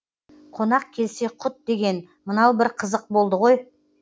қонақ келсе құт деген мынау бір қызық болды ғой